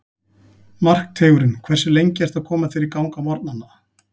Markteigurinn Hversu lengi ertu að koma þér í gang á morgnanna?